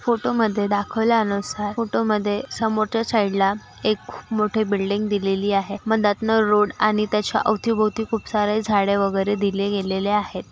Photo मध्ये दाखवल्या नुसार फोटो मध्ये समोरच्या साइडला एक मोठे बिल्डिंग दिलेली आहे मदातन रोड आणि त्याच्या अवती भोवती खूप सारे झाडे वगैरे दिले गेलेले आहे.